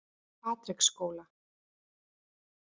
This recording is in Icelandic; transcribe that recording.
Patreksskóla